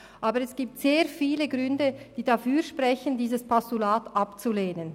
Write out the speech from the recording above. Aber es gibt sehr viele Gründe, die dafür sprechen, dieses Postulat abzulehnen.